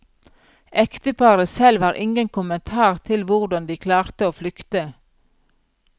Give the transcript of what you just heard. Ekteparet selv har ingen kommentar til hvordan de klarte å flykte.